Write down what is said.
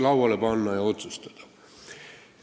lauale panna ja otsustada.